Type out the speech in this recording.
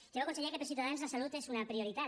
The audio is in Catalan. ja veu conseller que per ciutadans la salut és una prioritat